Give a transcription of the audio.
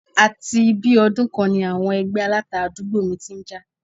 Àti bí i ọdún kan ni àwọn ẹgbẹ́ Aláta àdúgbò mi ti ń jà